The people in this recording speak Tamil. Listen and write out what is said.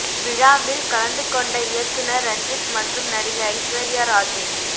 விழாவில் கலந்து கொண்ட இயக்குநர் ரஞ்சித் மற்றும் நடிகை ஐஸ்வர்யா ராஜேஷ்